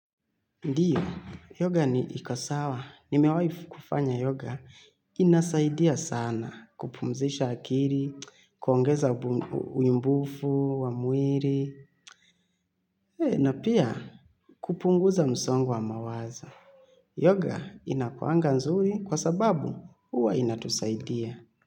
Ndio, yoga ni iko sawa. Nimewahi kufanya yoga inasaidia sana kupumzisha akili, kuongeza unyumbufu wa mwili, na pia kupunguza msongo wa mawazo. Yoga inakuanga nzuri kwa sababu huwa inatusaidia.